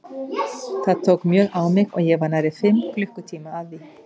Það tók mjög á mig og ég var nærri fimm klukkutíma að því.